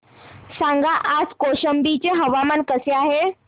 सांगा आज कौशंबी चे हवामान कसे आहे